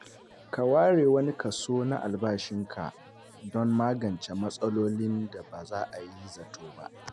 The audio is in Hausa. Ka ware wani kaso na albashinka don magance matsalolin da ba a yi zato ba.